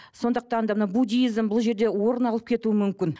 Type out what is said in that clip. сондықтан да мына буддизм бұл жерде орын алып кетуі мүмкін